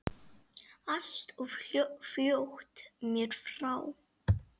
Allt of fljótt mér frá.